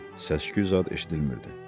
Səs-küy zad eşidilmirdi.